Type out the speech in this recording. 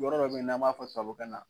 Yɔrɔ dɔ bɛ yen n'an b'a fɔ sabokan na na